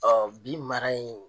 Ɔɔ bi mara in